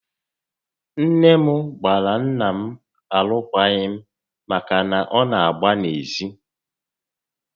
Nné m gbara nnà m alụkwaghị m màkà na ọ nà agba n'ezi